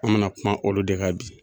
An me na kuma olu de ka bi